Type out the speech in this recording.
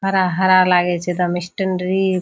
हरा-हरा लागे छै एकदम स्टैंडरी ।